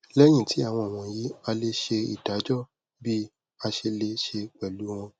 lẹhin ti awọn wọnyi a le ṣe idajọ bi ase le se pẹlu wọn